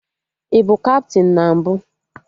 I bụ kaptịn na mbụ?